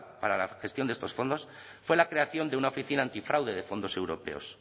para la gestión de estos fondos fue la creación de una oficina antifraude de fondos europeos